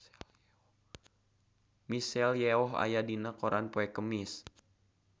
Michelle Yeoh aya dina koran poe Kemis